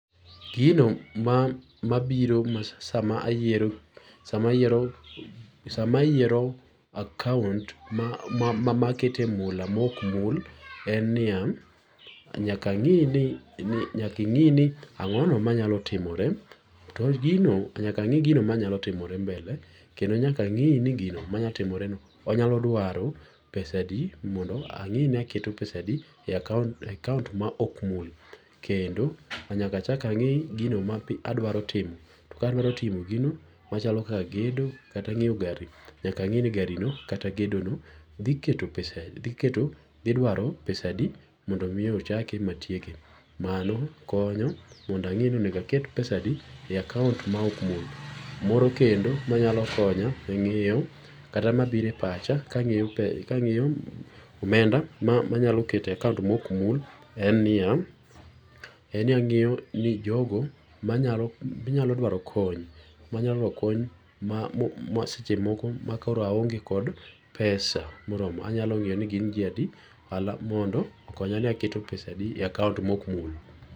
Gino ma mabiro sama ayiero sama ayiero sama ayiero account ma ma ma akete mula mok mul, en niya nyaka ang'i ni ni nyaki ingi ni ang'ono ma nyalo timore. To gino nyaka ang'i gino manyalo timore mbele. Kendo nyaka ang'i ni gino ma nyalo timore no onyalo drawo pesa adi mondo ang'i ni aketo pesa adi e account e account ma ok mul. Kendo nyaka achak ang'i gino ma adwadro timo to ka adwaro timo gino machalo kaka gedo kata ng'iew gari, nyaka ang'e ni gari no kata gedo no dhi keto pesa adi, dhi keto, dhi dwaro pesa adi mondo omiyo chake matieke. Mano konyo mondo ang'e ni onego aket pesa adi e account ma ok mul. Moro kendo manyalo konya e ng'iyo kata mabiro e pacha ka ang'iyo ka ang'iyo omenda ma anyalo keto e account mok mul en niya en ni ang'iyo ni jogo manyalo manyalo dwaro kony manyalo dwaro kony ma ma seche moko makoro aonge kod pesa moromo, anyalo ng'iyo ni gin ji adi mondo okonya ni aketo pesa adi e account mok mul.